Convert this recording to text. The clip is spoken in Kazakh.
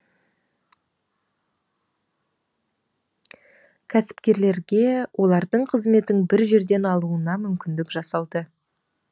кәсіпкерлерге олардың қызметін бір жерден алуына мүмкіндік жасалды